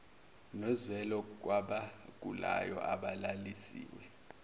nozwelo kwabagulayo abalalisiwe